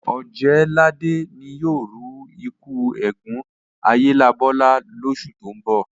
Ọ̀jẹ̀ẹ́làdé ni yóò ru ẹ́kú eégún Ayélabọ́lá lósù tó ń bọ̀